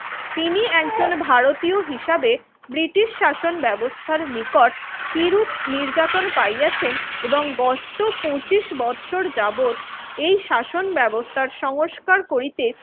তিনি একজন ভারতীয় হিসাবে ব্রিটিশ শাসন ব্যবস্থার নিকট কিরূপ নির্যাতন পাইয়াছেন এবং গত পঁচিশ বছর যাবৎ এই শাসন ব্যবস্থার সংস্কার করিতে